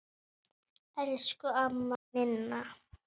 Elsku amma Ninna.